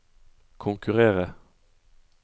konkurrere